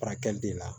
Furakɛli de la